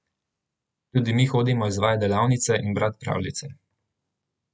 Tudi mi hodimo izvajat delavnice in brat pravljice.